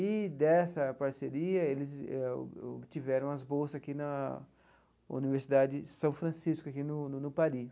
E, dessa parceria, eles tiveram as bolsas aqui na Universidade São Francisco, aqui no no no Paris.